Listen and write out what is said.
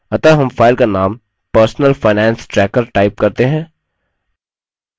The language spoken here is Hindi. अतः हम file का name personal finance tracker type करते हैं